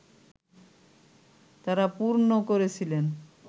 তাঁরা পূর্ণ করেছিলেন